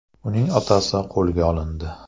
Uning otasi qo‘lga olindi.